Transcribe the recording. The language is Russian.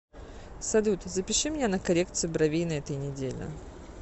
салют запиши меня на коррекцию бровей на этой неделе